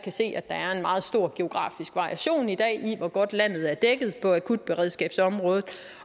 se at der er en meget stor geografisk variation i dag i hvor godt landet er dækket på akutberedskabsområdet